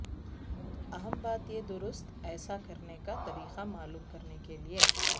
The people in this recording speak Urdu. اہم بات یہ درست ایسا کرنے کا طریقہ معلوم کرنے کے لئے